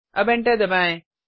अब एंटर दबाएँ